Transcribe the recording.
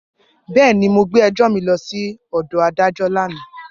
Bẹẹni, Mo gbe ẹjọ mi lọ si adajọ lana.